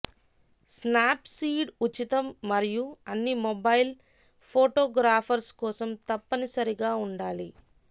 Snapseed ఉచితం మరియు అన్ని మొబైల్ ఫోటోగ్రాఫర్స్ కోసం తప్పనిసరిగా ఉండాలి